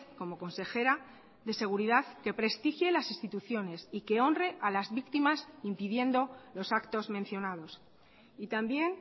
como consejera de seguridad que prestigie las instituciones y que honre a las víctimas impidiendo los actos mencionados y también